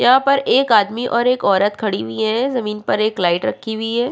यहाँ पर एक आदमी और एक औरत खड़ी हुई है ज़मींन पर एक लाइट रखी हुई है।